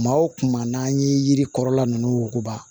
Maa o kuma n'an ye yiri kɔrɔla ninnu wuguba